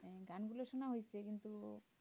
সমালোচনা হচ্ছে কিন্তু